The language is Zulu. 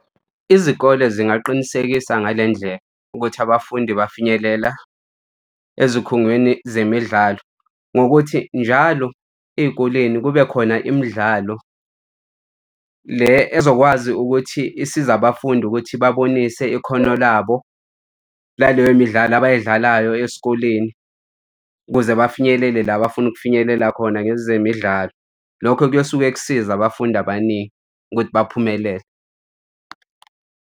Izikole zingaqinisekisa ngale ndlela ukuthi abafundi bafinyelela ezikhungweni zemidlalo. Ngokuthi njalo ey'koleni kube khona imidlalo le ezokwazi ukuthi isiza abafundi ukuthi babonise ikhono labo laleyo midlalo abay'dlalayo esikoleni ukuze bafinyelele la abafuna ukufinyelela khona ngezemidlalo. Lokho kuyosuke kusiza abafundi abaningi ukuthi baphumelele.